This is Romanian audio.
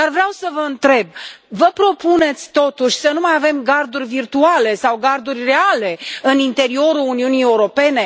Dar vreau să vă întreb vă propuneți totuși să nu mai avem garduri virtuale sau garduri reale în interiorul Uniunii Europene?